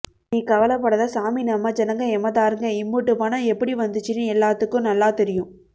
நீ கவலைப் படாத சாமி நம்ம ஜனங்க எமகாதர்ங்க இம்புட்டு பணம் எப்படி வந்துச்சின்னு எலாத்துக்கும் நல்லா தெரியும்